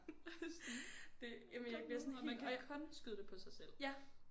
Og sådan det jamen jeg bliver sådan helt